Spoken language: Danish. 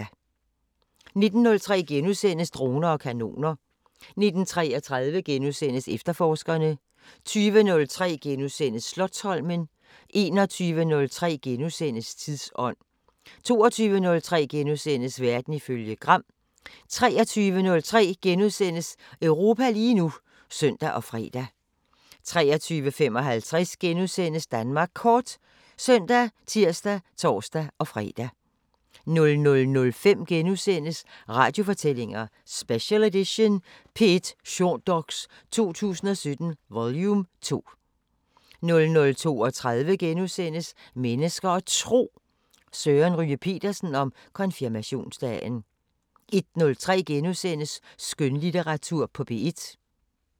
19:03: Droner og kanoner * 19:33: Efterforskerne * 20:03: Slotsholmen * 21:03: Tidsånd * 22:03: Verden ifølge Gram * 23:03: Europa lige nu *(søn og fre) 23:55: Danmark Kort *( søn, tir, tor-fre) 00:05: Radiofortællinger: Special edition – P1 Shortdox 2017 vol 2 * 00:32: Mennesker og Tro: Søren Ryge Petersen om konfirmationsdagen * 01:03: Skønlitteratur på P1 *